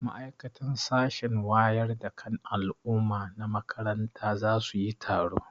Ma'aikatan sashen wayar da kan al'umma na makaranta za su yi taro.